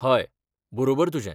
हय, बरोबर तुजें